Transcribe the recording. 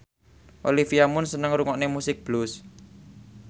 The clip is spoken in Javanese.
Olivia Munn seneng ngrungokne musik blues